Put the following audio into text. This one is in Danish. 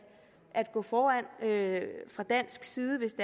gå foran fra dansk side hvis